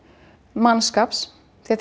mannskaps því